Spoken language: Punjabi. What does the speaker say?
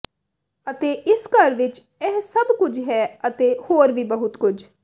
ਅਤੇ ਇਸ ਘਰ ਵਿੱਚ ਇਹ ਸਭ ਕੁਝ ਹੈ ਅਤੇ ਹੋਰ ਵੀ ਬਹੁਤ ਕੁਝ